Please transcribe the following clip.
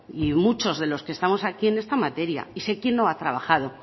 y muchos de los que estamos aquí en esta materia y sé quién no ha trabajo